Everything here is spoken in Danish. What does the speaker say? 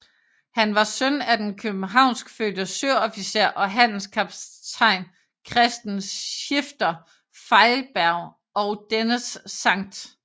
Han var søn af den københavnskfødte søofficer og handelskaptajn Christen Schifter Feilberg og dennes St